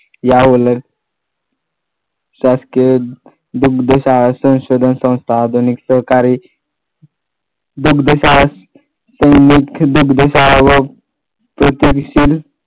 याउलट शासकीय दिगदेश आवासन संशोधन संस्था आधुनिक सहकार्य दिगदेश आवासन व त्याच्याविषयी